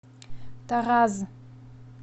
тараз